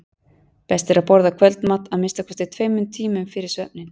Best er að borða kvöldmat að minnsta kosti tveimur tímum fyrir svefninn.